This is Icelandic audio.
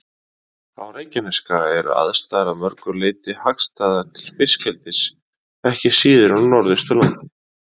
Á Reykjanesskaga eru aðstæður að mörgu leyti hagstæðar til fiskeldis ekki síður en á Norðausturlandi.